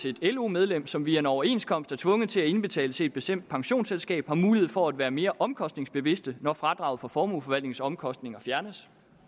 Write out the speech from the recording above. et lo medlem som via en overenskomst er tvunget til at indbetale til et bestemt pensionsselskab har mulighed for at være mere omkostningsbevidst når fradraget for formueforvaltningsomkostninger fjernes